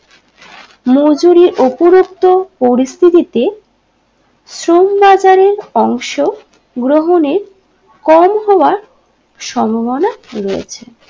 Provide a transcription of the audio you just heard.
মজুরির উপরত্বও পরিস্থিতিতে শ্রম বাজারের অংশ গ্রহণে কম হওয়া সম্ভবনা রয়েছে